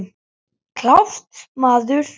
Klárt, maður!